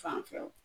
Fanfɛ